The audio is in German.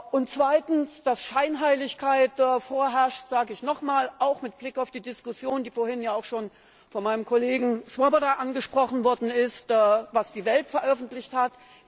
Und zweitens, dass Scheinheiligkeit vorherrscht, das sage ich noch einmal, auch mit Blick auf die Diskussion, die vorhin ja auch schon von meinem Kollegen Swoboda angesprochen worden ist, über das, was Die Welt veröffentlich hat.